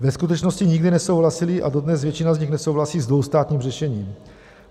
Ve skutečnosti nikdy nesouhlasili a dodnes většina z nich nesouhlasí s dvoustátním řešením.